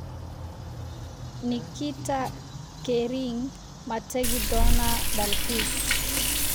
Nikita Kering ma tagi doonaa dalxiis?